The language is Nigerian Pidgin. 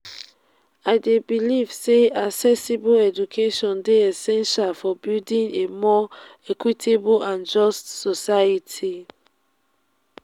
i dey believe say accessible education dey essential for building a more equitable and just society.